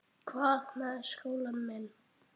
Hvað með skólann minn?